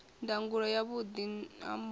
ndangulo ya vhuḓi ha mufhe